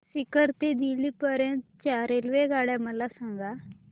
सीकर ते दिल्ली पर्यंत च्या रेल्वेगाड्या मला सांगा